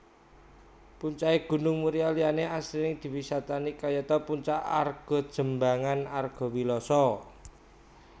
Puncake Gunung Muria liyane asring diwisatani kayata Puncak Argojembangan Argowiloso